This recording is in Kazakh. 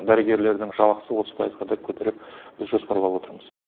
дәрігерлердің жалақысын отыз пайызға көтеріп біз жоспарлап отырмыз